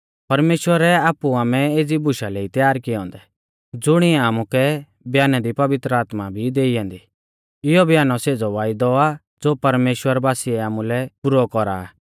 परमेश्‍वरै आपु आमै एज़ी बुशा लै ई त्यार किऐ औन्दै ज़ुणिऐ आमुकै बयानै दी पवित्र आत्मा भी आ देई औन्दी इयौ ब्यानौ सेज़ौ वायदौ आ ज़ो परमेश्‍वर बासीऐ आमुलै पुरौ कौरा आ